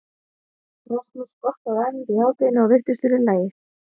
Rasmus skokkaði á æfingu í hádeginu og virtist vera í lagi.